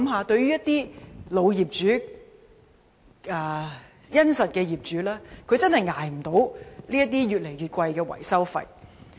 對於老業主和殷實的業主來說，他們真的無法負擔越來越高的維修費。